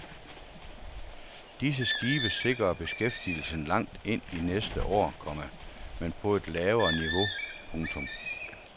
Disse skibe sikrer beskæftigelsen langt ind i næste år, komma men på et lavere niveau. punktum